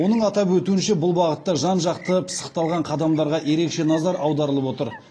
оның атап өтуінше бұл бағытта жан жақты пысықталған қадамдарға ерекше назар аударылып отыр